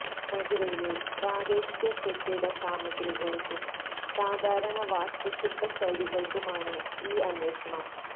മേഖലയിലെ പ്രാദേശിക കെട്ടിട സാമഗ്രികൾക്കും സാധാരണ വാസ്തുശില്പ ശൈലികൾക്കുമാണ് ഈ അന്വേഷണം